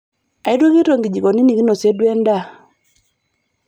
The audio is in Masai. Aitukito nkijikoni nikinosie duo endaa.